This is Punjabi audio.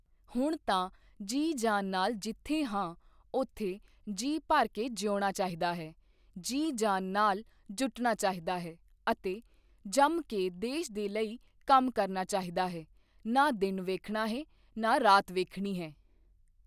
ਹੁਣ ਤਾਂ ਜੀ ਜਾਨ ਨਾਲ ਜਿੱਥੇ ਹਾਂ, ਉੱਥੇ ਜੀਅ ਭਰ ਕੇ ਜਿਉਣਾ ਚਾਹੀਦਾ ਹੈ, ਜੀ ਜਾਨ ਨਾਲ ਜੁਟਣਾ ਚਾਹੀਦਾ ਹੈ ਅਤੇ ਜੰਮ ਕੇ ਦੇਸ਼ ਦੇ ਲਈ ਕੰਮ ਕਰਨਾ ਚਾਹੀਦਾ ਹੈ ਨਾ ਦਿਨ ਵੇਖਣਾ ਹੈ, ਨਾ ਰਾਤ ਵੇਖਣੀ ਹੈ।